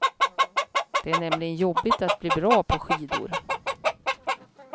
Det är nämligen jobbigt att bli bra på skidor.